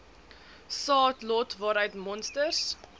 saadlot waaruit monsters